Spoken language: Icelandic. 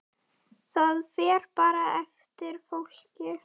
Það fer bara eftir fólki.